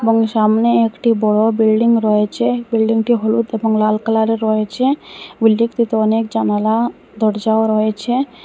এবং সামনে একটি বড়ো বিল্ডিং রয়েছে বিল্ডিংটি হলুদ এবং লাল কালারের রয়েছে বিল্ডিংটিতে অনেক জানালা দরজাও রয়েছে।